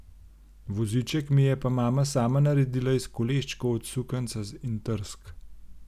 Voziček mi je pa mama sama naredila iz koleščkov od sukanca in trsk.